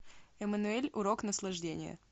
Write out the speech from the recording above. эммануэль урок наслаждения